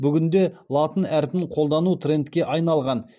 бүгінде латын әрпін қолдану трендке айналған